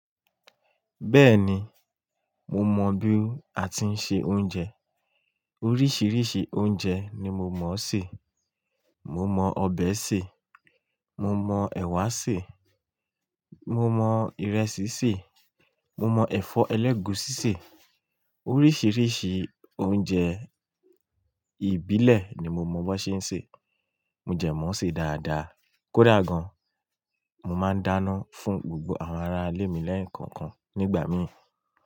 Bẹ́ẹ̀ni, mo mọ bí a ti ń se oúnjẹ. Oríṣiríṣi oúnjẹ ni mo mọ̀ sé. Mo mọ ọbẹ̀ sè, mo mọ ẹ̀wà sè, mo mọ ìrẹsì sè, mo mọ ẹ̀fọ́ ẹlẹ́gùúsí sè. Oríṣiríṣi oúnjẹ ìbílẹ̀ ni mo mọ̀ bó ṣe ń ṣe. Mo dẹ mọ̀ọ́ se dáadáa. Kódà gan, mo máa ń dáná fún gbogbo àwọn ará ilé mi lẹ́ẹ̀kọ̀kan nígbà míì.